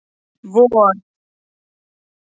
vor